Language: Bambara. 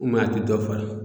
a tɛ dɔ falen